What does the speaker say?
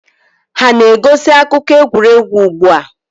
Ha na-egosi akụkọ egwuregwu ugbu a?